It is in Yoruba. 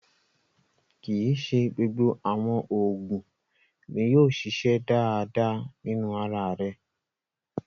Kí ì ṣé gbogbo awọn oogun, ní yóò ṣiṣẹ̀ dáadáa nínu ara rè